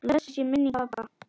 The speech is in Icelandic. Blessuð sé minning pabba.